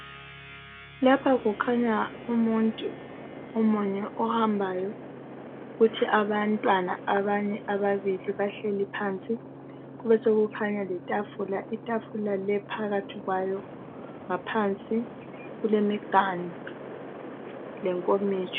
Lapha kukhanya umuntu munye ohambayo . Kuthi abantwana abanye ababili bahlezi phansi . Kube sokukhanya letafula. Itafula le phakathi kwayo ngaphansi kulemiganu lenkomitsho.